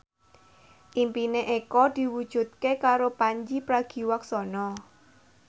impine Eko diwujudke karo Pandji Pragiwaksono